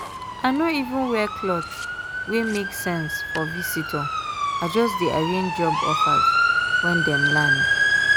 i no even wear cloth wey make sense for visitor i just dey arrange job offers when dem land.